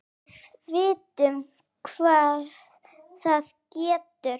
Við vitum hvað það getur!